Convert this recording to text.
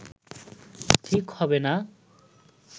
ঠিক হবে না